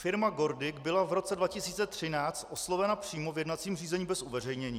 Firma GORDIC byla v roce 2013 oslovena přímo v jednacím řízení bez uveřejnění.